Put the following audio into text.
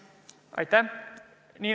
Aitäh!